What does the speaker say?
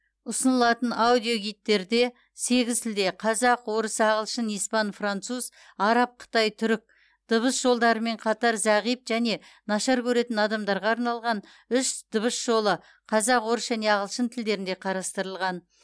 ұсынылатын аудиогидтерде сегіз тілде қазақ орыс ағылшын испан француз араб қытай түрік дыбыс жолдарымен қатар зағип және нашар көретін адамдарға арналған үш дыбыс жолы қазақ орыс және ағылшын тілдерінде қарастырылған